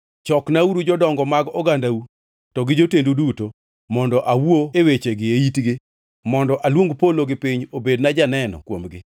Choknauru jodongo mag ogandau to gi jotendu duto, mondo awuo e wechegi e itgi kendo mondo aluong polo gi piny obedna janeno kuomgi.